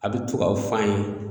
A bɛ to k'a fɔ an ye